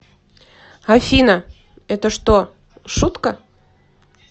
афина это что шутка